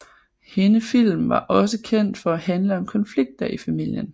Hende film var også kendte for at handle om konflikter i familien